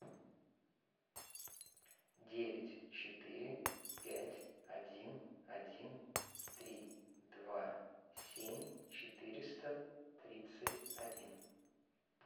девять четыре пять один один три два семь четыреста тридцать один